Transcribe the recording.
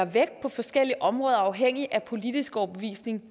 vægt på forskellige områder afhængigt af politisk overbevisning